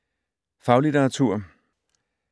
Faglitteratur